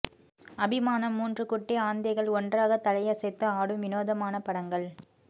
அபிமான மூன்று குட்டி ஆந்தைகள் ஒன்றாக தலை அசைத்து ஆடும் வினோதமான படங்கள்